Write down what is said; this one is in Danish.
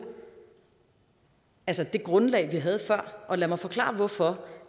altså det grundlag vi havde før og lad mig forklare hvorfor